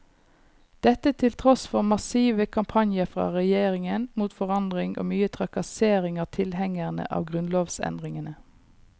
Dette til tross for massive kampanjer fra regjeringen mot forandring og mye trakassering av tilhengerne av grunnlovsendringene.